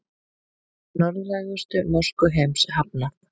Norðlægustu mosku heims hafnað